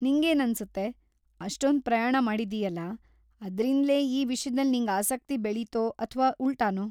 ನಿಂಗೇನನ್ಸುತ್ತೆ, ಅಷ್ಟೊಂದ್‌ ಪ್ರಯಾಣ ಮಾಡಿದ್ದೀಯಲ, ಅದ್ರಿಂದ್ಲೇ ಈ ವಿಷ್ಯದಲ್ ನಿಂಗ್ ಆಸಕ್ತಿ ಬೆಳೀತೋ ಅಥ್ವಾ ಉಲ್ಟಾನೋ?